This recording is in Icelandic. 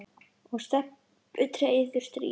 og Stebbi treður strý.